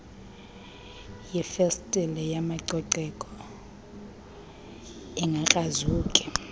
yeefestile mayicoceke ingakrazuki